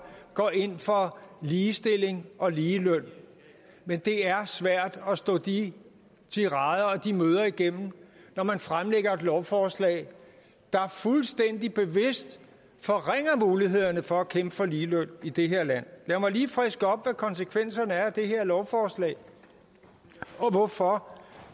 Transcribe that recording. går ind for ligestilling og ligeløn men det er svært at stå de tirader og de møder igennem når man fremlægger lovforslag der fuldstændig bevidst forringer mulighederne for at kæmpe for ligeløn i det her land lad mig lige friske op hvad konsekvenserne er af det her lovforslag og hvorfor